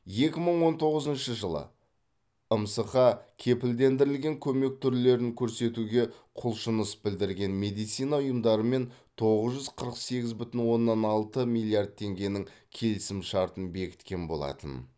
екі мың он тоғызыншы жылы мсқ кепілдендірілген көмек түрлерін көрсетуге құлшыныс білдірген медицина ұйымдарымен тоғыз жүз қырық сегіз бүтін оннан алты миллиард теңгенің келісімшартын бекіткен болатын